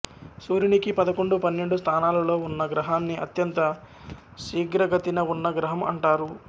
సూర్యునికి పదకొండు పన్నెండు స్థానాలలో ఉన్న గ్రహాన్ని అత్యంత శీఘ్రగతిన ఉన్న గ్రహం అంటారు